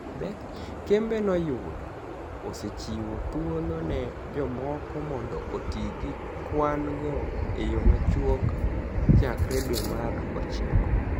Kembe noyudo osechiwo thuolo ni e jomoko monido oti gi kwani go e yo machuok chakre dwe mar ochiko.